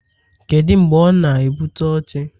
Kedu mgbe ọ na-ebute oche?